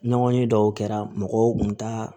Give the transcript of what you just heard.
Ɲɔgɔnye dɔw kɛra mɔgɔw kun ta